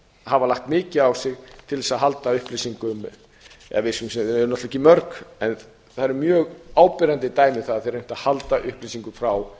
hafa lagt mikið á sig til að halda upplýsingum þau eru náttúrlega ekki mörg en það eru mjög áberandi dæmi um það að þau hafi reynt að halda upplýsingum frá